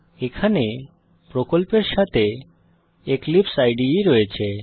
এখানে প্রকল্পের সাথে এক্লিপসাইড রয়েছে